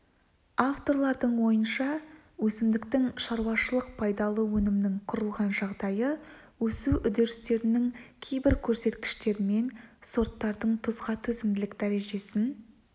авторлардың ойынша өсімдіктің шаруашылық пайдалы өнімінің құрылған жағдайы өсу үдерістерінің кейбір көрсеткіштерімен сорттардың тұзға төзімділік дәрежесін